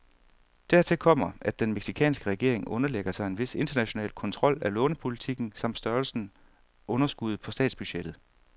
Dertil kommer, at den mexicanske regering underlægger sig en vis international kontrol af lånepolitikken samt størrelsen underskuddet på statsbudgettet.